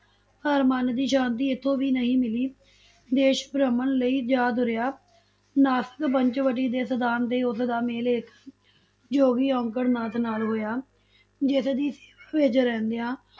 ਪਰ ਮਨ ਦੀ ਸ਼ਾਂਤੀ ਇਥੋਂ ਵੀ ਨਹੀ ਮਿਲੀ, ਦੇਸ਼ ਭ੍ਰਮਣ ਲਈ ਜਾ ਤੁਰਿਆ, ਨਾਸਕ ਪੰਚਵਟੀ ਦੇ ਸਥਾਨ ਤੇ ਉਸਦਾ ਮੇਲ ਇਕ ਜੋਗੀ ਅਓਕੜ ਨਾਥ ਨਾਲ ਹੋਇਆ, ਜਿਸਦੀ ਸੇਵਾ ਵਿਚ ਰਹਿੰਦੀਆਂ,